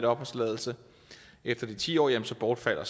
opholdstilladelse efter de ti år bortfalder